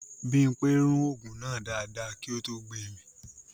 Bímpé rún ògùn náà dáadáa kí ó tó gbemì